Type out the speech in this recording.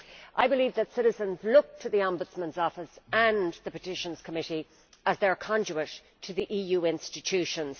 I believe that citizens look to the Ombudsman's Office and the Petitions Committee as their conduit to the EU institutions.